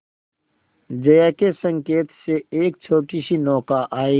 जया के संकेत से एक छोटीसी नौका आई